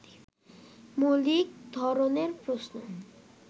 মৌলিক ধরনের প্রশ্ন